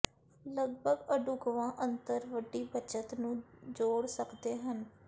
ਲਗਭਗ ਅਢੁਕਵਾਂ ਅੰਤਰ ਵੱਡੀ ਬੱਚਤ ਨੂੰ ਜੋੜ ਸਕਦੇ ਹਨ